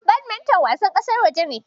Badminton wasan ƙasar waje ne.